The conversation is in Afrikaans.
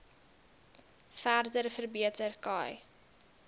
verder verbeter khai